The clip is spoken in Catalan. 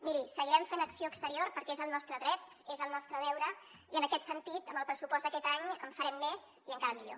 miri seguirem fent acció exterior perquè és el nostre dret és el nostre deure i en aquest sentit amb el pressupost d’aquest any en farem més i encara millor